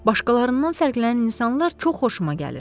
Başqalarından fərqlənən insanlar çox xoşuma gəlir.